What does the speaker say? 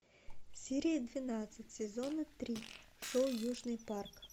серия двенадцать сезона три шоу южный парк